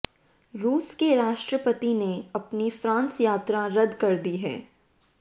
रूस के राष्ट्रपति ने अपनी फ़्रांस यात्रा रद्द कर दी है